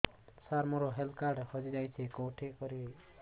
ସାର ମୋର health card ହଜି ଯାଇଛି କେଉଁଠି କରିବି